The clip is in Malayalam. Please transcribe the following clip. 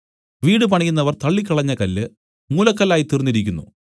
വീട് പണിയുന്നവർ തള്ളിക്കളഞ്ഞ കല്ല് മൂലക്കല്ലായിത്തീർന്നിരിക്കുന്നു